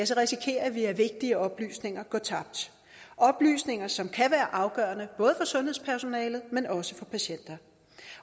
så risikerer vi at vigtige oplysninger går tabt oplysninger som kan være afgørende både sundhedspersonalet men også for patienter